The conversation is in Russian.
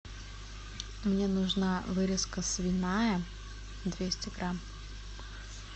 мне нужна вырезка свиная двести грамм